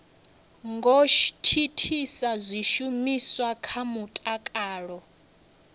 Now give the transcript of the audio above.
ngo thithisa zwishumiswa zwa mutakalo